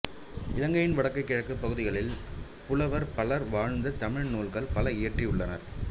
இலங்கையின் வடக்கு கிழக்கு பகுதிகளில் புலவர் பலர் வாழ்ந்து தமிழ் நூல்கள் பல இயற்றித் தந்துள்ளனர்